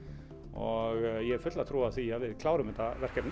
og ég hef fulla trú á því að við klárum þetta verkefni